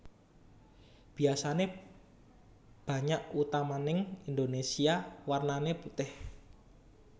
Biasané banyak utamaning Indonésia warnané putih